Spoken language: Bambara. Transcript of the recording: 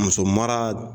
Muso mara